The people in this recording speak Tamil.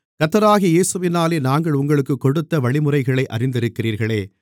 கர்த்தராகிய இயேசுவினாலே நாங்கள் உங்களுக்குக் கொடுத்த வழிமுறைகளை அறிந்திருக்கிறீர்களே